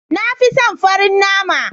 Na fi son farin nama.